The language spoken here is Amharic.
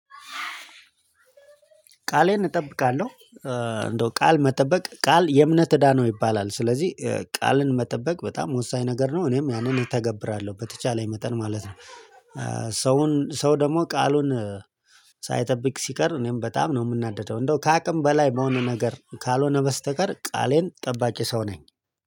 ቃሌን እጠብቃለሁ እንደው ቃል መጠበቅ ቃል የእምነት እዳ ነው ይባላል። ስለዚህ ቃልን መጠበቅ በጣም ወሳኝ ነገር ነው እኔም ያንን እተገብራለሁ በተቻለኝ መጠን ማለት ነው። ሰውን ሰው ደግሞ ቃሉን ሳይጠብቅ ሲቀር እኔም በጣም ነው የምናደደው እንደው ከአቅም በላይ በሆነ ነገር ካልሆነ በስተቀር ቃሌን ጠባቂ ሰው ነኝ።